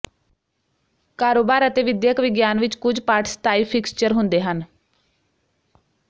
ਕਾਰੋਬਾਰ ਅਤੇ ਵਿਦਿਅਕ ਵਿਗਿਆਨ ਵਿੱਚ ਕੁਝ ਪਾਠ ਸਥਾਈ ਫਿਕਸਚਰ ਹੁੰਦੇ ਹਨ